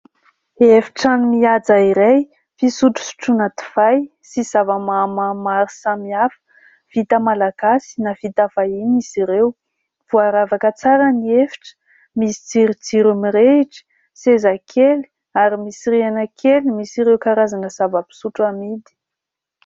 Efitrano mihaja iray fisotrosotroana divay sy zava-mahamamo maro samihafa vita Malagasy na vita vahiny izy ireo. Voaravaka tsara ny efitra, misy jirojiro mirehitra, seza kely ary misy rihana kely misy ireo karazana zava-pisotro amidy.